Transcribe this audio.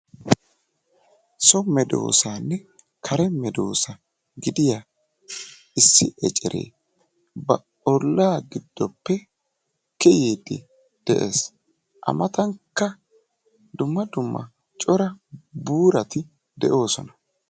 So medoosanne kare medoosa gidiyaa issi eceree ba ollaa giddoppe kiyyiiddi de'ees. A matankka dumma dumma cora buurati de'oosona.